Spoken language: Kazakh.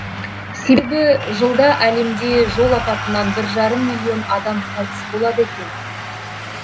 себебі жылда әлемде жол апатынан бір жарым миллион адам қайтыс болады екен